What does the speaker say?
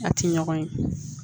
A ti ɲɔgɔn ye